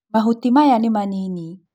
Mahuti maya nĩ manini